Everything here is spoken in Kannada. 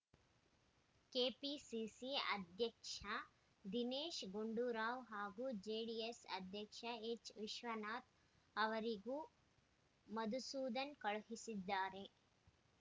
ಕೆಪಿಸಿಸಿ ಅಧ್ಯಕ್ಷ ದಿನೇಶ್‌ ಗುಂಡೂರಾವ್‌ ಹಾಗೂ ಜೆಡಿಎಸ್‌ ಅಧ್ಯಕ್ಷ ಎಚ್‌ವಿಶ್ವನಾಥ್‌ ಅವರಿಗೂ ಮಧುಸೂದನ್‌ ಕಳುಹಿಸಿದ್ದಾರೆ